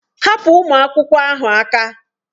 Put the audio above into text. Hapụ ụmụ akwụkwọ ahụ aka!